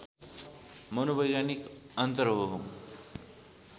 मनोवैज्ञानिक अन्तर हो